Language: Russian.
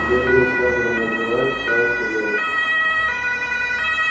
тебе же было сказано не отзываются сразу стрелять